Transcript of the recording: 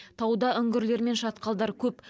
тауда үңгірлер мен шатқалдар көп